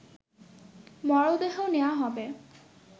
মরদেহ নেয়া হবে